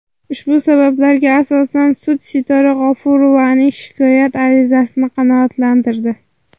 Ushbu sabablarga asosan sud Sitora G‘ofurjonovaning shikoyat arizasini qanoatlantirdi.